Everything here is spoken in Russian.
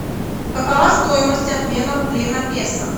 какова стоимость обмена рублей на песо